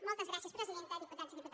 moltes gràcies presidenta diputats i diputades